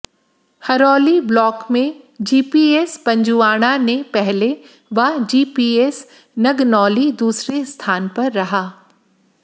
Haroli block में GPS Panjuana ने पहले व जीपीएस नगनौली दूसरे स्थान पर रहा